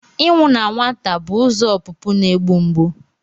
Ịnwụ na nwata bụ ụzọ ọpụpụ na-egbu mgbu.